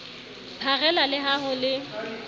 pharela le ha ho le